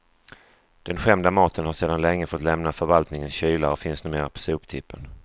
Den skämda maten har sedan länge fått lämna förvaltningens kylar och finns numera på soptippen.